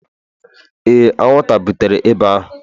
Ee, anwụnta butere ịba ahụ